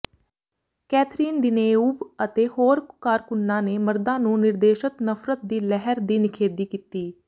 Catherine Deneuve ਅਤੇ ਹੋਰ ਕਾਰਕੁੰਨਾਂ ਨੇ ਮਰਦਾਂ ਨੂੰ ਨਿਰਦੇਸ਼ਤ ਨਫ਼ਰਤ ਦੀ ਲਹਿਰ ਦੀ ਨਿਖੇਧੀ ਕੀਤੀ